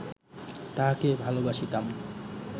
তাহাকে ভালবাসিতাম